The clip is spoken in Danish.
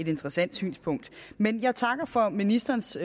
interessant synspunkt men jeg takker for ministerens